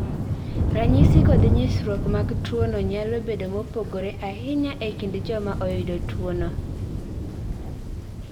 Ranyisi kod nyisruok mag tuo no nyalo bedo mopogore ahinya e kind joma oyudo tuo no.